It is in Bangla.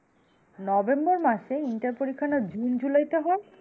November মাসে? ইন্টার পরীক্ষা না June July তে হয়?